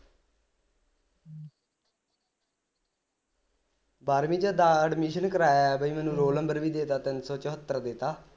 ਬਾਰਵੀ ਵਿਚ ਦਾ admission ਕਰਾਇਆ ਬਈ ਮੈਨੂੰ roll number ਵੀ ਦੇ ਤਾਂ ਤਿੰਨ ਸੌ ਚੁਰੱਤਰ ਦਿੱਤਾ